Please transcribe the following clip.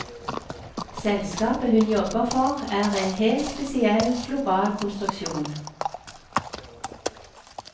Selskapet hun jobber for er en helt spesiell, global konstruksjon.